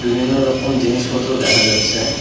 বিভিন্ন রকম জিনিসপত্র দেখা যাচ্ছে।